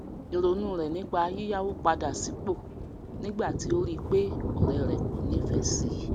ìrònú rẹ nípa yíyáwó padà sípò nígbà tí ó rí pé ọrẹ rẹ kò nífẹẹ si